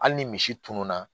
Hali ni misi tununna